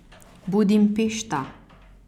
Budimpešta.